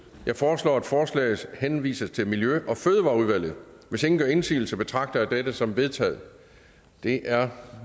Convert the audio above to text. jeg foreslår at forslaget henvises til miljø og fødevareudvalget hvis ingen gør indsigelse betragter jeg dette som vedtaget det er